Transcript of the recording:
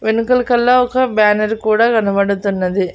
వెనుకల కళ్ళ ఒక బ్యానర్ కూడా కనబడుతున్నది.